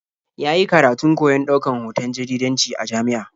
Ya yi karatun koyon ɗaukan hoton jaridanci a jami'a.